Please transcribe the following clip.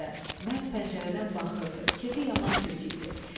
Mərd pəncərədən baxırdı, kefi yaman kök idi.